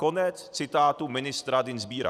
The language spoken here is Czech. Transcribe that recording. Konec citátu ministra Dienstbiera.